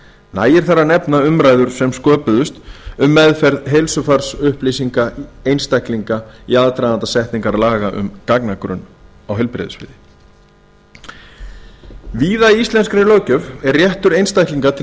nægir þar að nefna umræður sem sköpuðust um meðferð heilsufarsupplýsinga einstaklinga í aðdraganda setningar laga um gagnagrunn á heilbrigðissviði víða í íslenskri löggjöf er réttur einstaklinga til